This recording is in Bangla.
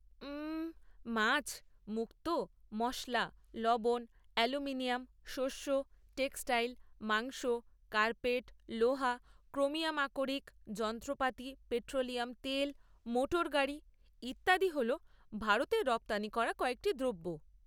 উমমম, মাছ, মুক্তো, মশলা, লবণ, অ্যালুমিনিয়াম, শস্য, টেক্সটাইল, মাংস, কার্পেট, লোহা, ক্রোমিয়াম আকরিক, যন্ত্রপাতি, পেট্রোলিয়াম তেল, মোটর গাড়ি ইত্যাদি হল ভারতের রপ্তানি করা কয়েকটি দ্রব্য।